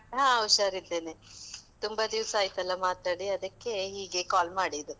ಹಾ ಹುಷಾರಿದ್ದೇನೆ, ತುಂಬ ದಿವ್ಸ ಆಯ್ತಲ್ಲ ಮಾತಾಡಿ ಅದಕ್ಕೆ ಹೀಗೆ call ಮಾಡಿದ್ದು.